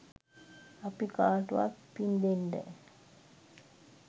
අපි කාටවත් පින් දෙන්ඩ